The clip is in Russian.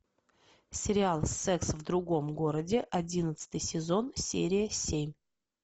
сериал секс в другом городе одиннадцатый сезон серия семь